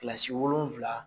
Kilasi wolonwula